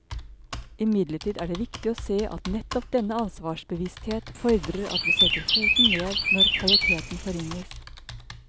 Imidlertid er det viktig å se at nettopp denne ansvarsbevissthet fordrer at vi setter foten ned når kvaliteten forringes.